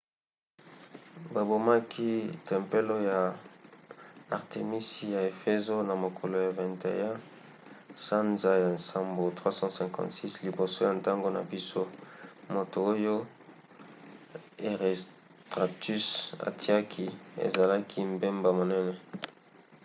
babomaki tempelo ya artemisi na efezo na mokolo ya 21 sanza ya nsambo 356 liboso ya ntango na biso moto oyo herostratus atiaki ezalaki mbeba monene